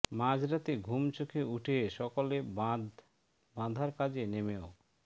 মাঝ রাতে ঘুম চোখে উঠে সকলে বাঁধ বাঁধার কাজে নেমেও